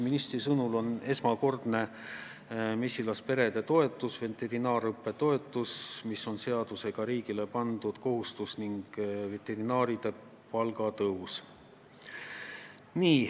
Minister tõi välja mesilasperede toetuse, veterinaarõppe toetuse, mis on seadusega riigile pandud kohustus, ning veterinaaride palga tõusu.